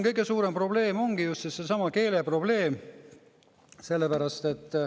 Kõige suurem probleem ongi just seesama keeleprobleem.